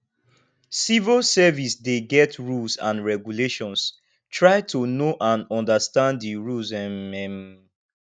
civil service dey get rules and regulations try to know and understand di rules um um